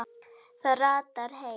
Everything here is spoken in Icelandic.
Það ratar heim.